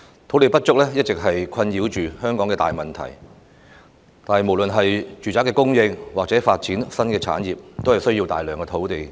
土地不足是一直困擾着香港的大難題，無論是住宅供應或新產業發展都需要大量土地。